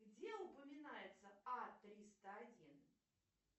где упоминается а триста один